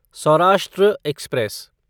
Saurashtra express